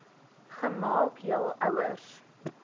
gemaak jul ouers